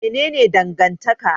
Mene ne dangantaka?